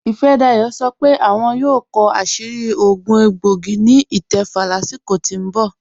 Ìfádàyọ̀ sọ́ pé àwọn yóò kọ àṣìrí òogún ègbòìgì ni ítẹ̀fà láṣíkò tó n bọ̀